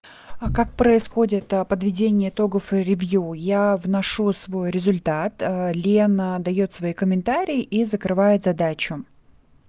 а как происходит подведение итогов ревью я вношу свой результат ээ лена даёт свои комментарии и закрывает задачу